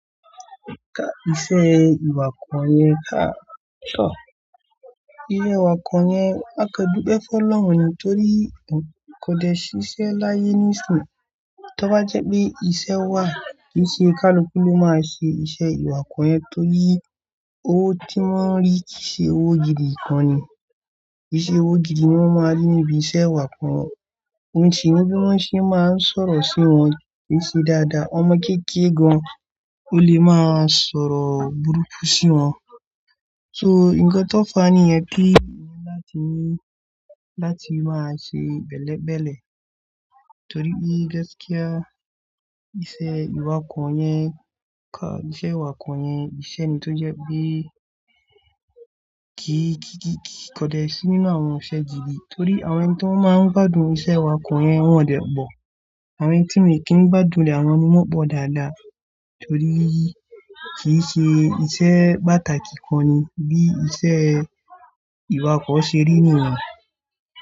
Ka iṣẹ́ ìwakọ̀ yẹn ká, iṣẹ́ ìwakọ̀ yẹn á kàn dúpẹ́ fọ́ lọ́hùn torí kòde ṣíṣe láyé ní ìsín tí ó bá jẹ́ pé iṣẹ́ wà, kìí ṣe kálukú ló máa ṣe iṣẹ́ ìwakọ̀ yẹn torí owó tí wọ́n ń rí kìí ṣe owó gidi kan ni. Kì í ṣe owó gidi ni wọ́n máa ń rí níbi iṣẹ́ ìwakọ̀, ohun tì í mú bí wọ́n ṣe ń máa ń sọ̀rọ̀ sí wọn kì í ṣe dáadáa. Ọmọ kékeré gan ó lè máa sọ̀rọ̀ burúkú sí wọn. So nǹkan tó fà á nìyẹn kí ìyẹn láti ní láti máa ṣe bẹ̀lẹ́bẹ̀lẹ̀ torí pé gáskía iṣẹ́ ìwakọ̀ yẹn ká, iṣẹ́ ìwakọ̀ yẹn, iṣẹ́ ni tó jẹ́ pé kì í, kì í, kì í, kì í kòde sí nínú àwọn iṣẹ́ gidi torí àwọn ẹni tí wọ́n máa ń gbádùn iṣẹ́ ìwakọ̀ yẹn wọn ò dẹ̀ pọ̀. Àwọn ẹni tí wọn ò kí n gbádùn rẹ̀ àwọn ni wọ́n pọ̀ dáadáa torí kì í ṣe iṣẹ́ pàtàkì kan ni bí iṣẹ́ ìwakọ̀ ṣe rí nìyẹn.